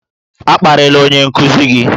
A kparịla onye nkuzi gị!